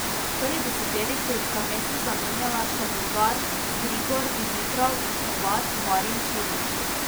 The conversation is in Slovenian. V prvi deseterici sta mesti zamenjala še Bolgar Grigor Dimitrov in Hrvat Marin Čilić.